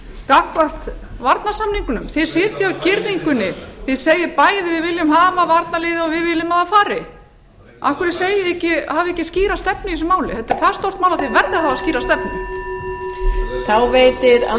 gagnvart varnarsamningnum þið sitjið á girðingunni þið segið bæði við viljum hafa varnarliðið og við viljum að það fari af hverju hafið þið ekki skýra stefnu í þessu máli þetta er það stórt mál að þið verðið að hafa skýra stefnu